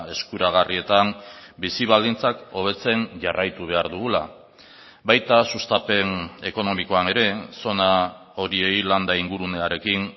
eskuragarrietan bizi baldintzak hobetzen jarraitu behar dugula baita sustapen ekonomikoan ere zona horiei landa ingurunearekin